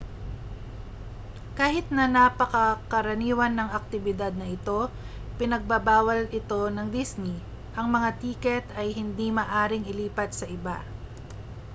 kahit na napakakaraniwan ng aktibidad na ito ipinagbabawal ito ng disney ang mga tiket ay hindi maaaring ilipat sa iba